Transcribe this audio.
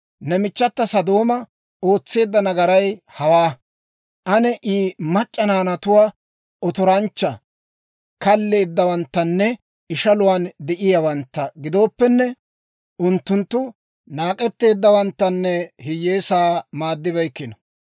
Ne michchata Sodooma ootseedda nagaray hawaa: aane I mac'c'a naanatuu otoranchcha, kalleeddawanttanne ishaluwaan de'iyaawantta gidooppenne, unttunttu naak'eteeddawanttanne hiyyeesaa maaddibeykkino.